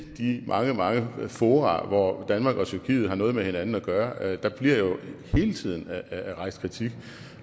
de mange mange fora hvor danmark og tyrkiet har noget med hinanden at gøre hele tiden rejst kritik